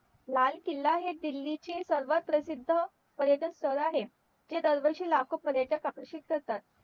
लाल किल्ला हे दिल्लीचे सर्वात प्रसिद्ध पर्यटन स्थळ आहे तिथे दरवर्षी लाखो पर्यटक आकर्षित करतात